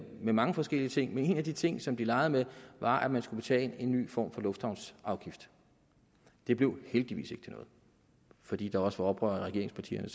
med mange forskellige ting men en af de ting som de legede med var at man skulle betale en ny form for lufthavnsafgift det blev heldigvis ikke til noget fordi der også var oprør i regeringspartierne